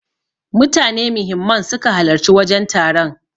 Mutane muhimman suka halarci wajen taron.